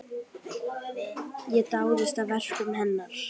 Ég dáðist að verkum hennar.